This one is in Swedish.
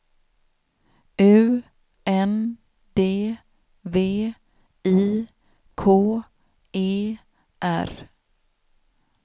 U N D V I K E R